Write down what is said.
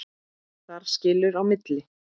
Þar skilur á milli.